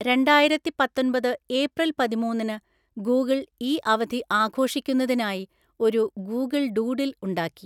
രണ്ടായിരത്തിപത്തൊന്‍പത് April പതിമൂന്നിനു Google ഈ അവധി ആഘോഷിക്കുന്നതിനായി ഒരു ഗൂഗിൾ ഡൂഡിൽ ഉണ്ടാക്കി.